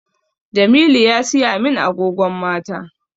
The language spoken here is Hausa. Jamilu ya siya min agogon mata